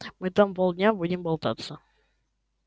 мы там полдня будем болтаться